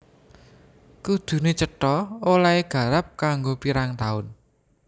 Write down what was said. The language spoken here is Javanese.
Kuduné cetha olèhé garap kanggo pirang taun